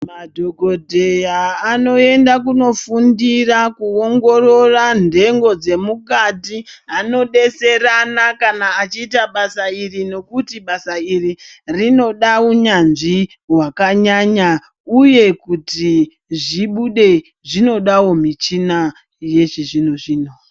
Madhokodheya anoenda kuofundira kuongorora ntengo dzemwiri dzemukati anodetserana kana achiita basa iri nekuti basa iri rinoda unyanzvi hwakanyanya uye kuti zvibude zvinodawo michina yechizvino-zvino.